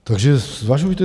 Takže zvažujte.